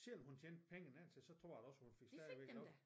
Selvom hun tjente pengene indtil så tror jeg da også hun fik stadigvæk løn